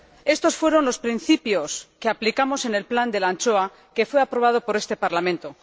Estos fueron los principios que aplicamos en el plan de la anchoa que fue aprobado por este Parlamento.